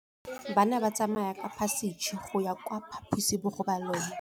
Bana ba tsamaya ka phašitshe go ya kwa phaposiborobalong.